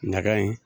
Ɲaga in